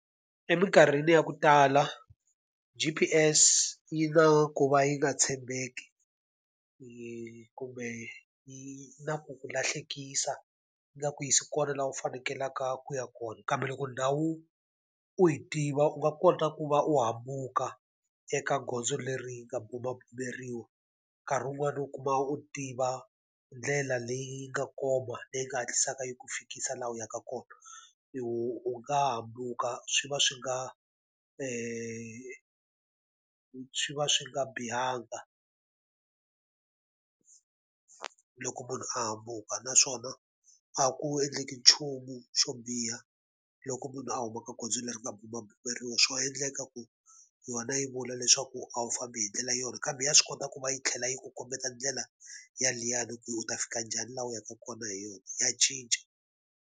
Eminkarhini ya ku tala G_P_S yi na ku va yi nga tshembeki, kumbe yi na ku ku lahlekisa yi nga ku yisi kona laha u fanekelaka ku ya kona. Kambe loko ndhawu u yi tiva u nga kota ku va u hambuka eka gondzo leri nga bumabumeriwa. Nkarhi wun'wani u kuma u tiva ndlela leyi nga koma leyi nga hatlisaka yi ku fikisa laha u yaka kona, u u nga hambuka swi va swi nga swi va swi nga bihanga loko munhu a hambuka. Naswona a ku endleki nchumu xo biha loko munhu a huma ka goza leri nga bumabumeriwa. Swa endleka ku yona yi vula leswaku a wu fambi hi ndlela yona kambe ya swi kota ku va yi tlhela yi ku kombeta ndlela yaliyani ku u ta fika njhani laha u yaka kona hi yona, ya cinca.